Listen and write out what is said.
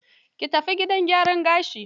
Ki tafi gidan gyaran gashi.